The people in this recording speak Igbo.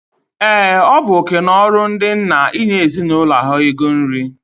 Ee, ọ bu oké na ọrụ ndị nna inye ezinụlọ ha ego nri.